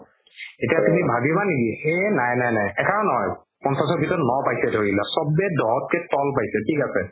এতিয়া তুমি ভাবিবা নেকি এই নাই নাই নাই এটাও নহ'ল পঞ্চাশ ভিতৰত ন পাইছে ধৰি লোৱা চ'বে দহতকে ত'ল পাইছে থিক আছে